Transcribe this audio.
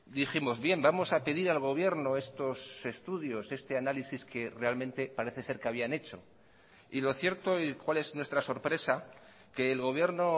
dijimos bien vamos a pedir al gobierno estos estudios este análisis que realmente parece ser que habían hecho y lo cierto y cuál es nuestra sorpresa que el gobierno